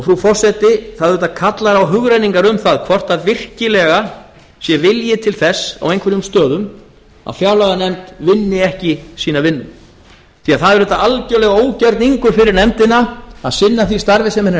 frú forseti það verður auðvitað kallar á hugrenningar um það hvort virkilega sé vilji til þess á einhverjum stöðum að fjárlaganefnd vinni ekki sína vinnu því að það er algerlega ógerningur fyrir nefndina að sinna því starfi sem henni er